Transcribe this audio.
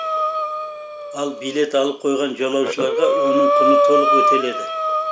ал билет алып қойған жолаушыларға оның құны толық өтеледі